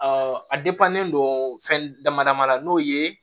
a don fɛn dama dama na n'o ye